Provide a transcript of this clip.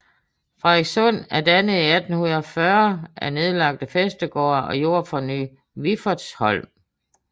Fredenslund er dannet i 1840 af nedlagte Fæstegårde og Jord fra Ny Wiffertsholm